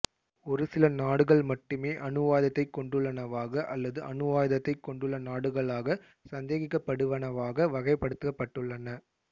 ஒரு சில நாடுகள் மட்டுமே அணுவாயுதத்தை கொண்டுள்ளனவாக அல்லது அணுவாயுதத்தைக் கொண்டுள்ள நாடுகளாகச் சந்தேகிக்கப்படுவனவாக வகைப்படுத்தப்பட்டுள்ளன